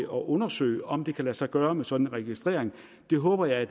undersøge om det kan lade sig gøre med sådan en registrering det håber jeg